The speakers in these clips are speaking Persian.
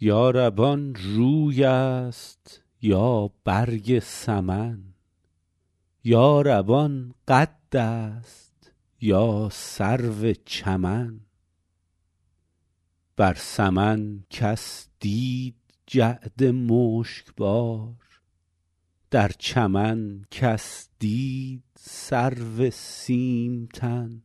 یا رب آن روی است یا برگ سمن یا رب آن قد است یا سرو چمن بر سمن کس دید جعد مشک بار در چمن کس دید سرو سیم تن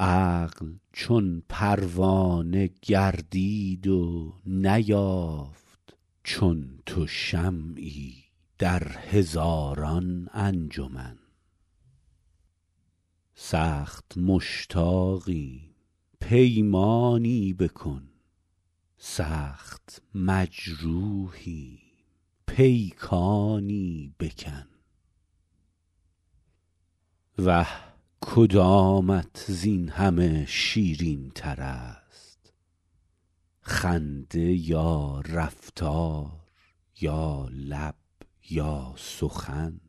عقل چون پروانه گردید و نیافت چون تو شمعی در هزاران انجمن سخت مشتاقیم پیمانی بکن سخت مجروحیم پیکانی بکن وه کدامت زین همه شیرین تر است خنده یا رفتار یا لب یا سخن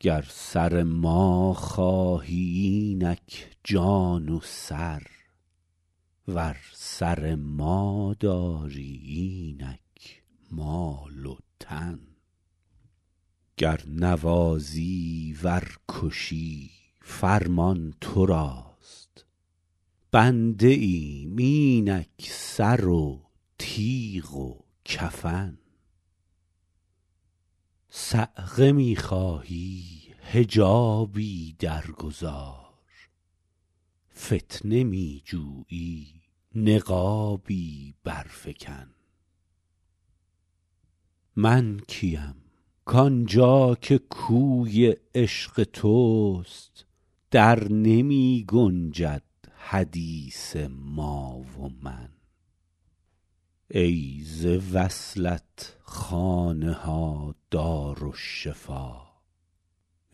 گر سر ما خواهی اینک جان و سر ور سر ما داری اینک مال و تن گر نوازی ور کشی فرمان تو راست بنده ایم اینک سر و تیغ و کفن صعقه می خواهی حجابی در گذار فتنه می جویی نقابی بر فکن من کیم کآن جا که کوی عشق توست در نمی گنجد حدیث ما و من ای ز وصلت خانه ها دارالشفا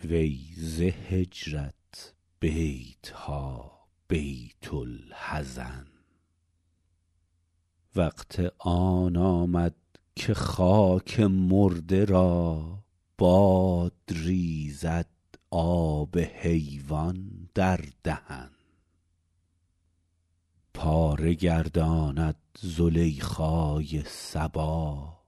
وی ز هجرت بیت ها بیت الحزن وقت آن آمد که خاک مرده را باد ریزد آب حیوان در دهن پاره گرداند زلیخای صبا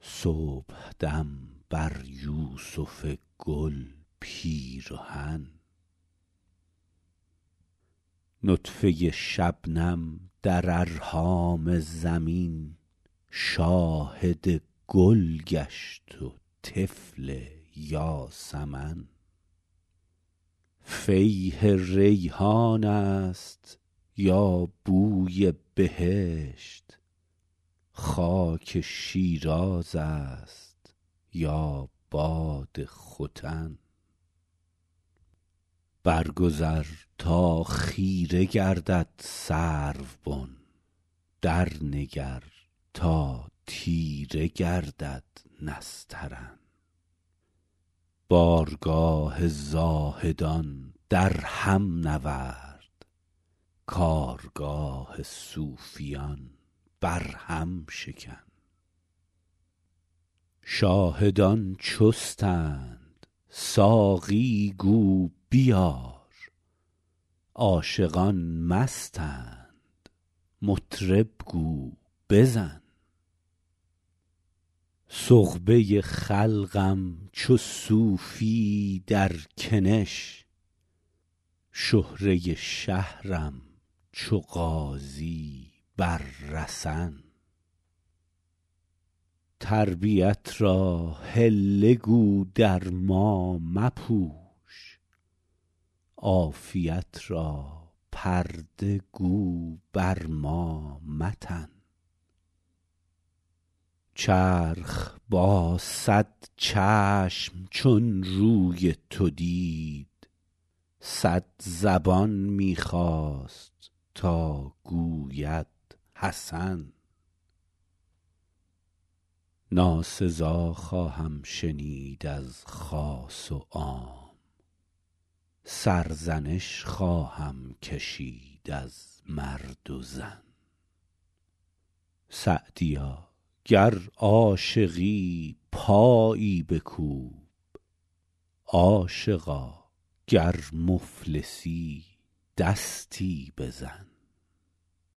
صبحدم بر یوسف گل پیرهن نطفه شبنم در ارحام زمین شاهد گل گشت و طفل یاسمن فیح ریحان است یا بوی بهشت خاک شیراز است یا باد ختن بر گذر تا خیره گردد سروبن در نگر تا تیره گردد نسترن بارگاه زاهدان در هم نورد کارگاه صوفیان بر هم شکن شاهدان چستند ساقی گو بیار عاشقان مستند مطرب گو بزن سغبه خلقم چو صوفی در کنش شهره شهرم چو غازی بر رسن تربیت را حله گو در ما مپوش عافیت را پرده گو بر ما متن چرخ با صد چشم چون روی تو دید صد زبان می خواست تا گوید حسن ناسزا خواهم شنید از خاص و عام سرزنش خواهم کشید از مرد و زن سعدیا گر عاشقی پایی بکوب عاشقا گر مفلسی دستی بزن